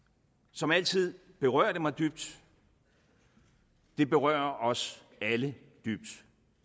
som altid berører det mig dybt det berører os alle dybt